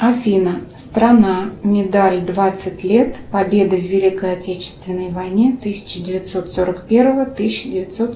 афина страна медаль двадцать лет победы в великой отечественной войне тысяча девятьсот сорок первого тысяча девятьсот